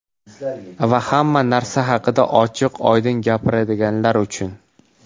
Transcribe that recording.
Va hamma narsa haqida ochiq-oydin gapiradiganlar uchun.